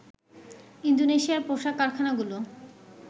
ইন্দোনেশিয়ার পোশাক কারখানাগুলো